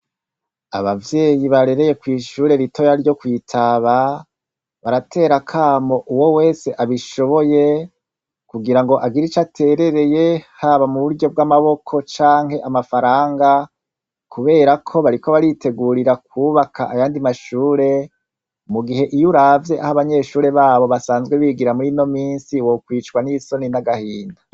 Abavyeyi barereye kw'ishure ritoya ryo kwitaba baratera akamo uwo wese abishoboye kugirango agire icatereteye haba muburyo bw'amaboko canke amafaranga kuberako bariko baritegurira kwubaka ayandi mashure mugihe iyuravye aho abanyeshure babo basanzwe bigira murinomisi wokwicwa n'isoni n'agahinda.